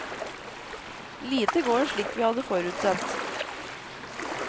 Lite går slik vi hadde forutsett.